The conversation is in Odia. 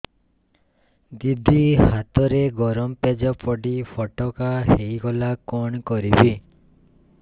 ଦିଦି ହାତରେ ଗରମ ପେଜ ପଡି ଫୋଟକା ହୋଇଗଲା କଣ କରିବି